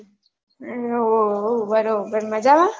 ઉહ બરોબર મજામાં?